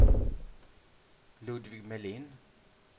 Ludvig Melin